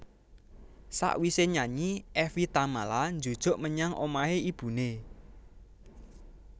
Sakwise nyanyi Evie Tamala njujuk menyang omahe ibune